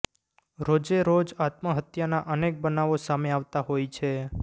રોજે રોજ આત્મહત્યાના અનેક બનાવો સામે આવતા હોય છે